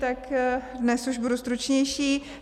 Tak dnes už budu stručnější.